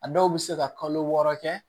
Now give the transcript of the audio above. A dɔw bɛ se ka kalo wɔɔrɔ kɛ